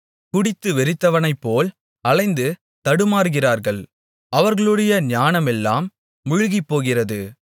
குடித்துவெறித்தவனைப்போல் அலைந்து தடுமாறுகிறார்கள் அவர்களுடைய ஞானமெல்லாம் முழுகிப்போகிறது